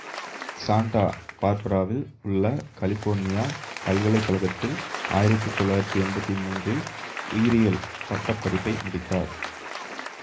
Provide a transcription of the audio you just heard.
Santa பார்பராவில் உள்ள California பல்கலை கழகத்தில் ஆயிரத்தி தொள்ளாயிரத்தி எம்பத்தி மூன்றில் உயிரியலில் பட்ட படிப்பை முடித்தார்